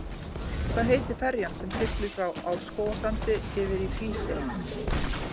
Hvað heitir ferjan sem siglir frá Árskógssandi yfir í Hrísey?